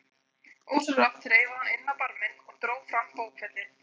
Ósjálfrátt þreifaði hún inn á barminn og dró fram bókfellið.